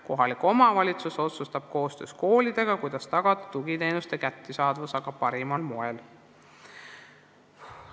Kohalik omavalitsus otsustab koostöös koolidega, kuidas tagada tugiteenuste kättesaadavus parimal moel.